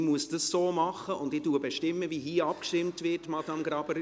Ich muss es so machen, und bestimme, wie hier abgestimmt wird, Madame Graber.